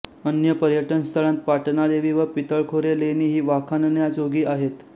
अन्य पर्यटनस्थळांत पाटणादेवी व पितळखोरे लेणी ही वाखाणण्याजोगी आहेत